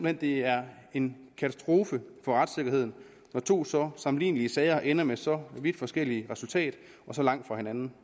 at det er en katastrofe for retssikkerheden når to så sammenlignelige sager ender med så vidt forskellige resultater og så langt fra hinanden